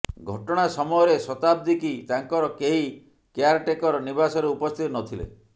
ଘଟଣା ସମୟରେ ଶତାଦ୍ଦୀ କି ତାଙ୍କର କେହି କେୟାରଟେକର ନିବାସରେ ଉପସ୍ଥିତ ନ ଥିଲେ